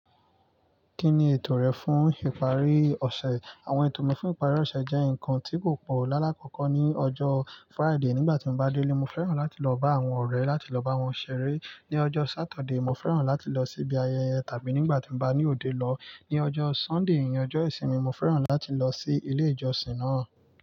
Kí ni ètò rẹ fún ìparí ọ̀sẹ̀? Àwọn ètò mi fún ìparí ọ̀sẹ̀ jẹ́ nǹkan tí kò pọ̀. Láàlá kọ̀ọ̀ko ní ọjọ́ Friday nígbà tí n bá délé, mo fẹ́ràn láti lọ bá àwọn ọ̀rẹ́ láti lọ bá wọn ṣeré. Ni ọjọ́ Saturday, mo fẹ́ràn láti lọ sí ibi ayẹyẹ tàbí nígbà tí mo bá ní òde lọ. Ni ọjọ́ Sunday èyí ni ọjọ́ ìsinmi, mo fẹ́ràn láti lọ sí ilé ìjọsìn náà.